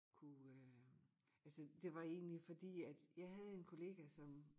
Kunne øh altså det var egentlig fordi at jeg havde en kollega som